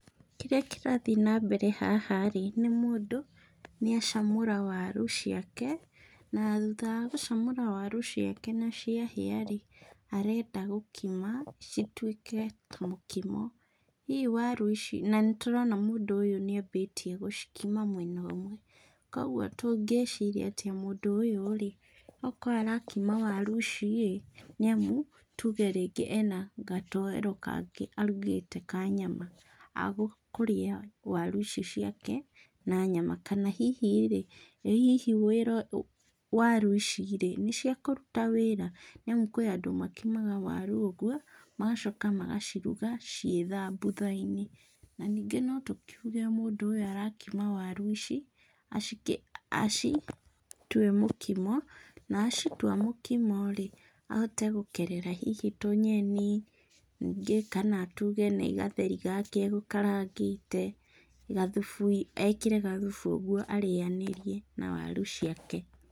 Kĩrĩa kĩrathiĩ na mbere haha-rĩ, nĩ mũndũ nĩ acamũra waru ciake, na thutha wa gũcamũra waru ciake na ciahĩa-rĩ, arenda gũkima cituĩke kamũkimo. Hihi waru ici, na nĩtũrona mũndũ ũyũ nĩ ambĩtie gũcikima mwena ũmwe, kuoguo tũngĩciria atĩ mũndũ ũyũ-rĩ, okorwo arakima waru ici-rĩ, nĩamu tuge rĩngĩ ena gatoero kangĩ arugĩte ka nyama, agũkĩrĩa waru ici ciake na nyama, kana hihi-rĩ, ĩ hihi wĩra waru ici-rĩ, nĩ cia kũruta wĩra, nĩamu kwĩ andũ makimaga waru ũguo, magacoka magaciruga ciĩ thambutha-inĩ. Ningĩ no tũkiuge mũndũ ũyũ arakima waru ici acitue mũkimo, na acitua mũkimo-rĩ, ahote gũkerera hihi tũnyeni, ningĩ kana tuge nĩ gatheri gake egũkarangĩte, gathubu ekĩre gathubu ũguo arĩanĩrie na waru ciake.